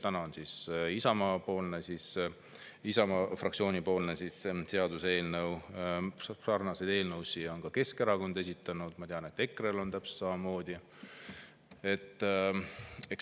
Täna on siin Isamaa fraktsiooni, aga sarnaseid eelnõusid on ka Keskerakond esitanud, ma tean, et EKRE täpselt samamoodi.